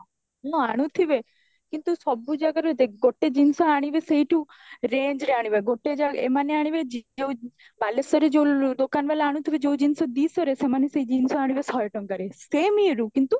ହଁ ଆଣୁଥିବେ କିନ୍ତୁ ସବୁ ଜାଗାରୁ ଦେଖ ଗୋଟେ ଜିନିଷ ଆଣିବେ ସେଇଠୁ range ରେ ଆଣିବେ ଗୋଟେ ଜାଗା ଏମାନେ ଆଣିବେ ଯଉ ବାଲେଶ୍ବର ରେ ଯୋଉ ଦୋକାନ ବାଲା ଆଣୁଥିବେ ଯୋଉ ଜିନ୍ସ ଦୁଈଶହ ରେ ସେମାନେ ସେଈ ଜିନିଷ ଆଣିବେ ଶହେ ଟଙ୍କାରେ same ଇଏ ରେ କିନ୍ତୁ